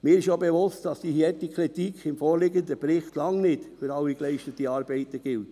Mir ist auch bewusst, dass die harte Kritik im vorliegenden Bericht lange nicht für alle geleisteten Arbeiten gilt.